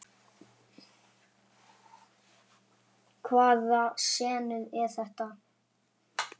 Hvaða senur eru þetta?